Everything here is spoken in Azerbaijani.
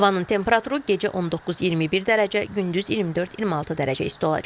Havanın temperaturu gecə 19-21 dərəcə, gündüz 24-26 dərəcə isti olacaq.